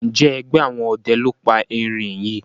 Njé ẹgbẹ àwọn ọdẹ ló pá èrin yí?